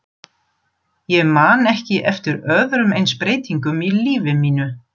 Ég man ekki eftir öðrum eins breytingum í lífi mínu.